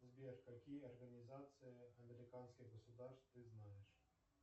сбер какие организации американских государств ты знаешь